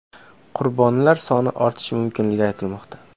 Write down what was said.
Qurbonlar soni ortishi mumkinligi aytilmoqda.